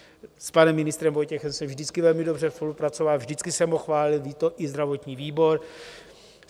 S panem ministrem Vojtěchem jsem vždycky velmi dobře spolupracoval, vždycky jsem ho chválil, ví to i zdravotní výbor.